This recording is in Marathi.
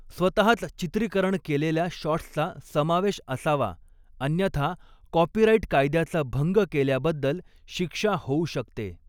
स्वतःच चित्रीकरण केलेल्या शॉट्सचा समावेश असावा अन्यथा कॉपीराईट कायद्याचा भंग केल्याबद्दल शिक्षा होऊ शकते